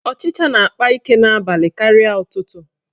Ọchicha na-akpa ike n'abalị karịa ụtụtụ.